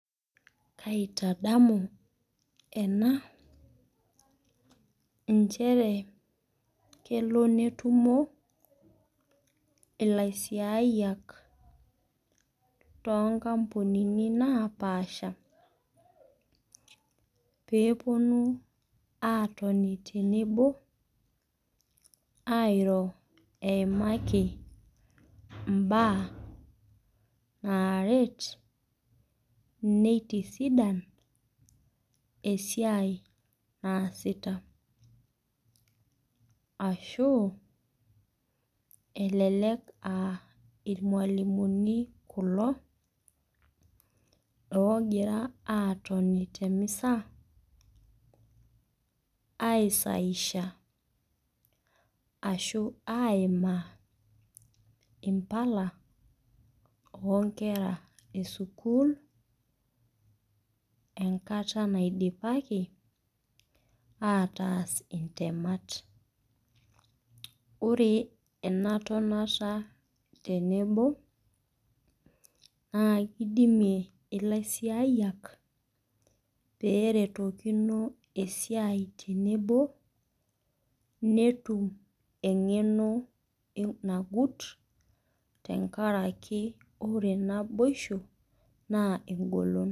Kaitadamu ena, inchere kelo netumo ilaisiayak too nkampunini naapaasha, peepuonu aatoni tenebo airro eimaki imbaa naaret, neitisidan esiai naasita. Ashu elelek aa ilmwalimuni kulo, oogira atoni te emeza aisahihisha ashu aimaa impala oo nkera e sukuul, enkata neidaipaki ataas intemat. Ore ena tonata tenebo, naa eidimie ilaisiayak, pee eretokino esiai tenebo, netum eng'rno nagut, tenkaraki ore naboisho naa engolon.